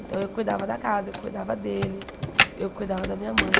Então, eu cuidava da casa, eu cuidava dele, eu cuidava da minha mãe.